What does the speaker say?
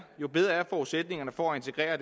jo bedre er forudsætningerne for at integrere